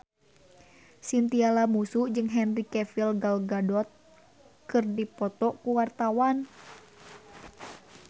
Chintya Lamusu jeung Henry Cavill Gal Gadot keur dipoto ku wartawan